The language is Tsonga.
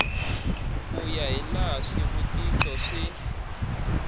ku ya hilaha swivutiso swi